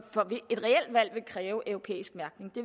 et reelt valg vil kræve en europæisk mærkning det